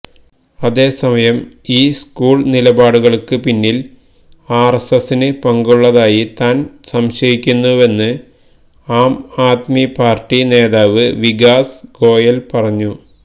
അതേസമയം ഈ സ്കൂള് നിലപാടുകള്ക്ക് പിന്നില് ആര്എസ്എസിന് പങ്കുള്ളതായി താന് സംശയിക്കുന്നുവെന്ന് ആംആദ്മി പാര്ട്ടി നേതാവ് വികാസ് ഗോയല് പറഞ്ഞു